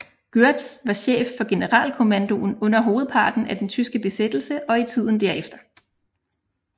Gørtz var chef for Generalkommandoen under hovedparten af den tyske besættelse og i tiden derefter